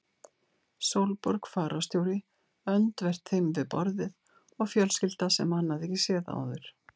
Sólborg fararstjóri öndvert þeim við borðið og fjölskylda sem hann hafði ekki séð áður.